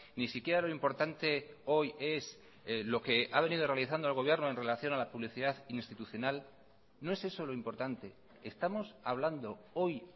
ni siquiera lo importante hoy es lo que ha venido realizando el gobierno en relación a la publicidad institucional no es eso lo importante estamos hablando hoy